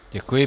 Děkuji.